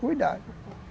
Cuidado.